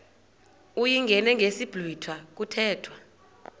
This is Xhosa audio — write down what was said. uyingene ngesiblwitha kuthethwa